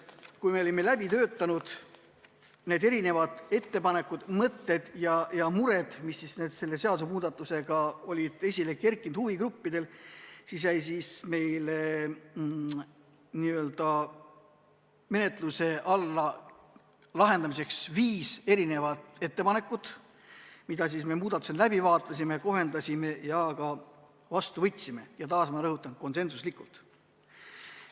Kui me olime läbi töötanud erinevad ettepanekud, mõtted ja mured, mis huvigruppidel olid esile kerkinud, siis jäi meile menetlusse viis ettepanekut, mida me muudatusettepanekutena arutasime, kohendasime ja mis me ka vastu võtsime, ja taas ma rõhutan, konsensuslikult.